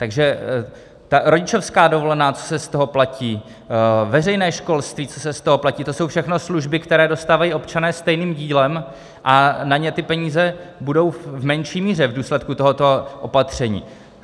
Takže ta rodičovská dovolená, co se z toho platí, veřejné školství, co se z toho platí, to jsou všechno služby, které dostávají občané stejným dílem, a na ně ty peníze budou v menší míře v důsledku tohoto opatření.